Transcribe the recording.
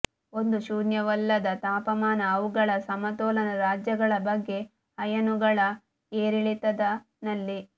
ಒಂದು ಶೂನ್ಯವಲ್ಲದ ತಾಪಮಾನ ಅವುಗಳ ಸಮತೋಲನ ರಾಜ್ಯಗಳ ಬಗ್ಗೆ ಅಯಾನುಗಳ ಏರಿಳಿತದ ನಲ್ಲಿ